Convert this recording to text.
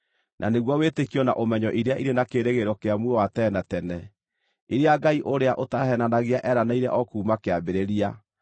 na nĩguo wĩtĩkio na ũmenyo iria irĩ na kĩĩrĩgĩrĩro kĩa muoyo wa tene na tene, iria Ngai ũrĩa ũtaheenanagia eeranĩire o kuuma kĩambĩrĩria.